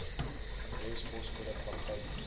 adres poskode praktyknommer